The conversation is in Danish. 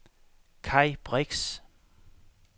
Kai Brix